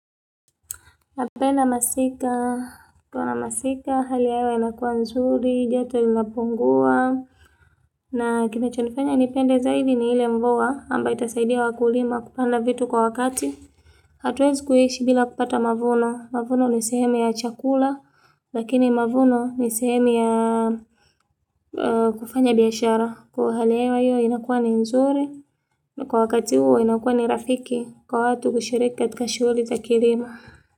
Napenda masika, kwa maana masika, hali ya hewa inakua nzuri, joto inapungua. Na kinacho nifanya nipende zaidi ni ile mvua ambayo itasaidia wakulima kupanda vitu kwa wakati. Hatuwezi kuhishi bila kupata mavuno, mavuno nisihemu ya chakula, lakini mavuno nisihemu ya kufanya biashara. Kwa hali ya hewa inakua ni nzuri, na kwa wakati huo inakua ni rafiki, kwa watu kushiriki katika shuguli za kilimo.